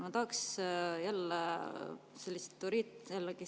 Ma tahaks jälle sellist vastust.